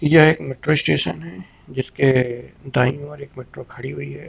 यह एक metro station है जिसके दाएं ओर एक मेट्रो खड़ी हुई है।